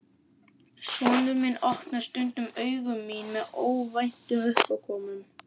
Sonur minn opnar stundum augu mín með óvæntum uppákomum.